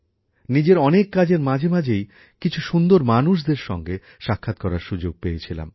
নিজের অনেক কাজের মাঝে মাঝেই কিছু সুন্দর মানুষদের সঙ্গে সাক্ষাৎ করার সুযোগ পেয়েছিলাম